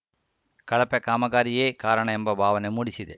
ಕಳಪೆ ಕಾಮಗಾರಿಯೇ ಕಾರಣ ಎಂಬ ಭಾವನೆ ಮೂಡಿಸಿದೆ